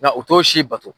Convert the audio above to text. Nka u t'o si bato